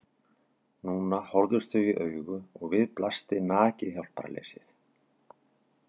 Núna horfðust þau í augu og við blasti nakið hjálparleysið.